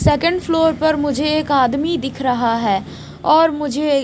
second floor पर मुझे एक आदमी दिख रहा है और मुझे--